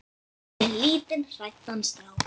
Fyrir lítinn hræddan strák.